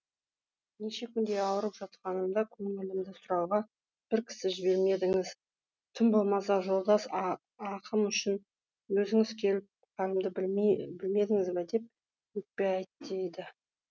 неше күндей ауырып жатқанымда көңілімді сұрауға бір кісі жібермедіңіз тым болмаса жолдас ақым үшін өзіңіз келіп халімді білмедіңіз деп өкпе айт дейді